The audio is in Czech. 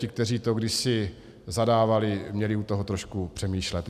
Ti, kteří to kdysi zadávali, měli u toho trošku přemýšlet.